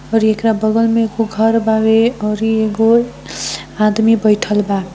और एकरा बगल मे एगो घर बारे और एगो आदमी बैठएल बा --